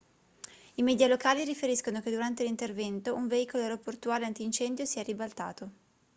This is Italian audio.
i media locali riferiscono che durante l'intervento un veicolo aeroportuale antincendio si è ribaltato